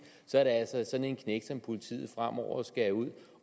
så er det altså sådan en knægt som politiet fremover skal ud